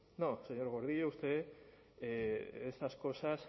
no señor gordillo usted esas cosas